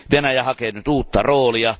Venäjä hakee nyt uutta roolia.